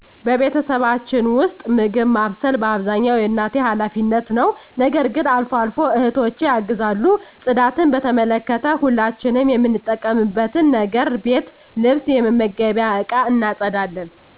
በቤተሰባችን ውስጥ፣ ምግብ ማብሰል በአብዛኛው የእናቴ ኃላፊነት ነው። ነገር ግን አልፎ አልፎ እህቶቸ ያግዟል። ጽዳትን በተመለከተ፣ ሁላችንም የምንጠቀምበትን ነገር ቤት ልብስ የመመገቢያ እቃ እናፀዳለን።